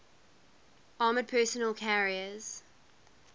armored personnel carriers